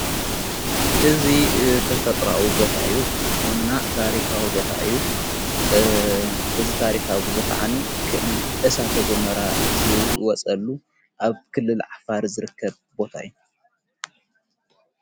እዙ ተፈጥራዉ ቦታዩ እና ታሪኻዊ ቦታዩ እዝ ታሪኻብዝ ኸዓኒ ክ እሳ ተጐመራ ዝወጸሉ ኣብ ክልል ዓፋር ዘርከብ ቦታይ እዩ።